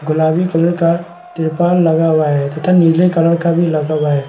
गुलाबी कलर का तिरपाल लगा हुआ है तथा नीले कलर का भी लगा हुआ है।